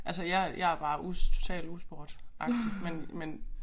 Altså jeg jeg er bare total usportagtig men men